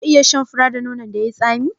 Za ka iya shan fura da nonon da yai tsami?